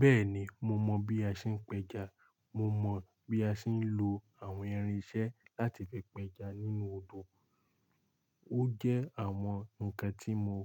Bẹ́ẹ̀ni, mo mọ bí a ṣe ń pẹja, mo mọ bí a ṣe ń lo àwọn irinṣẹ́ láti fi pẹja nínú odò. Ó jẹ́ àwọn ǹkan tí mo